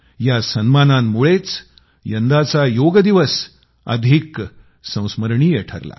या सन्मानांमुळेच यंदाचा योगदिवस चांगला संस्मरणीय ठरला